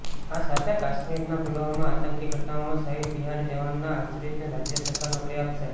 આ સાથે કાશ્મીરના પુલવામામાં આતંકી ઘટનાઓમાં શહીદ બિહારી જવાનના આશ્રિતોને રાજ્ય સરકાર નોકરી આપશે